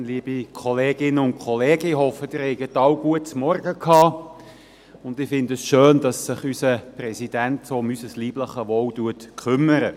der BiK. Ich hoffe, Sie haben alle ein gutes Frühstück gegessen, und ich finde es schön, dass sich unser Präsident so um unser leibliches Wohl kümmert.